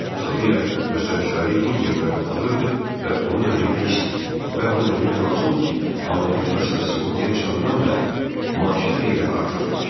Sofiya göstərişləri Hinçerdən alırdı və onu da demək və onu da demək lazımdır ki, hamiləlik məsələsi ortaya çıxandan bəri maaşı xeyli artırılmışdı.